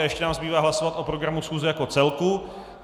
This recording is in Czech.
A ještě nám zbývá hlasovat o programu schůze jako celku.